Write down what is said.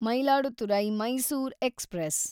Mayiladuthurai Mysore express